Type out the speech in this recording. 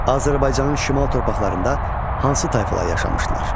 Azərbaycanın şimal torpaqlarında hansı tayfalar yaşamışdılar?